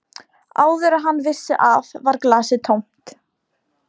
Áður en hann vissi af var glasið tómt.